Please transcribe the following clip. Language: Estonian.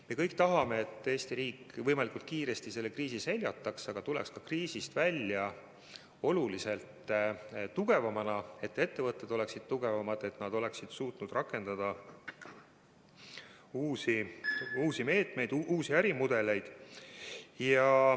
Me kõik tahame, et Eesti riik võimalikult kiiresti selle kriisi seljataks ja tuleks kriisist välja oluliselt tugevamana, et ettevõtted oleksid tugevamad ning et nad suudaksid rakendada uusi meetmeid, uusi ärimudeleid.